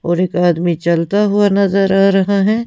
और एक आदमी चलता हुआ नजर आ रहा है--